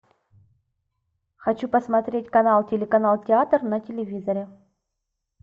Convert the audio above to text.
хочу посмотреть канал телеканал театр на телевизоре